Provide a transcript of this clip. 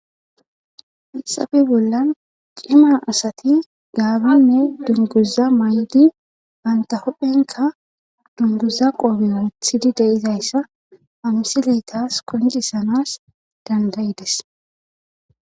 hixafe bollan ciman asati gaabanne dunguza may7idi banta hophphenka dunguza qoobe urethidi deizayssa hamisileytas kondisanas dandayides